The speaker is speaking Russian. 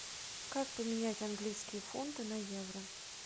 как поменять английские фунты на евро